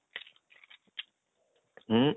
उ